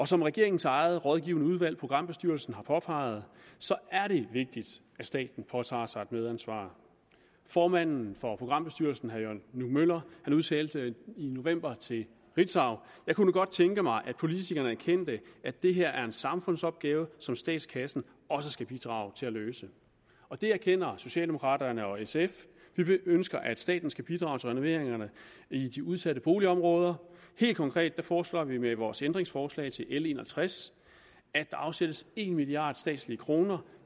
som regeringens eget rådgivende udvalg programbestyrelsen har påpeget er det vigtigt at staten påtager sig et medansvar formanden for programbestyrelsen jørgen nue møller udtalte i november til ritzau jeg kunne godt tænke mig at politikerne erkendte at det her er en samfundsopgave som statskassen også skal bidrage til at løse det erkender socialdemokraterne og sf vi ønsker at staten skal bidrage til renoveringerne i de udsatte boligområder helt konkret foreslår vi med vores ændringsforslag til l en og tres at der afsættes en milliard statslige kroner